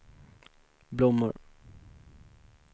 blommor